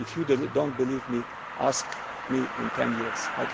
in Europe. If you do not believe me, ask me in 10 years'